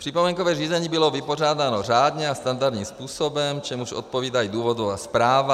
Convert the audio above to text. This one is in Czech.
Připomínkové řízení bylo vypořádáno řádně a standardním způsobem, čemuž odpovídá i důvodová zpráva.